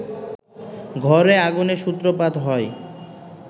ঘরে আগুনের সূত্রপাত হয়